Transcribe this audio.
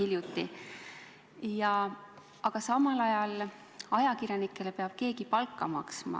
Kuid samal ajal peab ajakirjanikele keegi palka maksma.